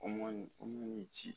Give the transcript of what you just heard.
O man ɲi o man ni ci